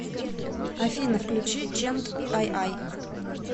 афина включи чент айай